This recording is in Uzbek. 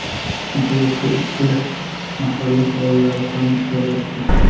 Nihoyat bu ishga mahalla faollari ham aralashdi.